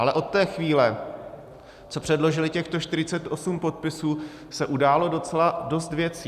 Ale od té chvíle, co předložili těchto 48 podpisů, se událo docela dost věcí.